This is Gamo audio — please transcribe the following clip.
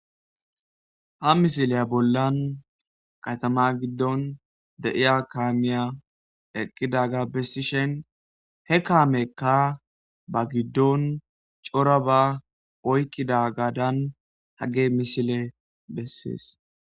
Ha misileya bollan qatama giddon de7iya kaamiya eqqidaga bessishen he kaamekka ba giddon cora ba oykkidagadan hagge misile bessees